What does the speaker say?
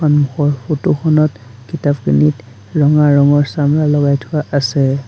সন্মুখৰ ফটো খনত কিতাপখিনিত ৰঙা ৰঙৰ চামৰা লগাই থোৱা আছে।